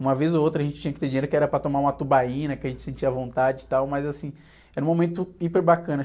Uma vez ou outra a gente tinha que ter dinheiro que era para tomar uma tubaína, que a gente sentia vontade e tal, mas, assim, era um momento hiper bacana.